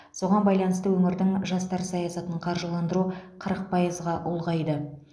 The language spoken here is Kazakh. соған байланысты өңірдің жастар саясатын қаржыландыру қырық пайызға ұлғайды